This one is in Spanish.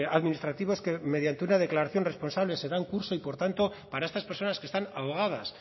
administrativos que mediante una declaración responsable se dan curso y por tanto para estas personas que están ahogadas